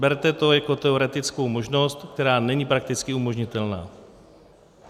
Berte to jako teoretickou možnost, která není prakticky umožnitelná.